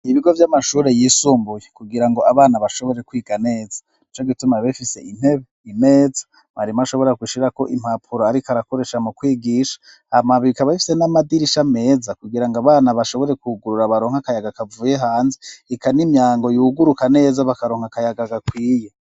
Ibigo vy'amashure yisumbuye kugirango abana bashobore kwiga neza nico gituma biba bifise intebe, imeza mwarimu ashobora gushirako impapuro ariko arakoresha mu kwigisha hama bikaba bifise n'amadirisha ameza kugira ngo abana bashobore kugurura baronke akayaga kavuye hanze ika n'imyango yuguruka neza bakaronka akayaga gakwiye.